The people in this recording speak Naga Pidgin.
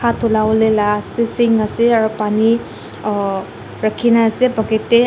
hat dhulawolae la si sink ase aro Pani rakhina ase bucket tae.